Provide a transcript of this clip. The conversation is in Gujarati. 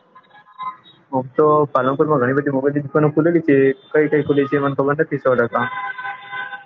આમતો પાલનપુર માં ગણી બધી mobile દુકાનો ખુલેલી છે કઈ કઈ ખુલી છે ખબર નથી મને સો ટકા